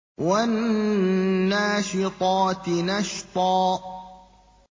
وَالنَّاشِطَاتِ نَشْطًا